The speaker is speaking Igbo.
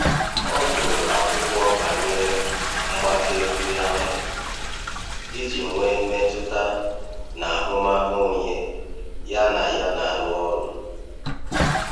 Ọ gụrụ akwụkwọ banyere mgbake riri ahụ iji nwee mmetụta n’ahụmahụ onye ya na ya na-arụ ọrụ.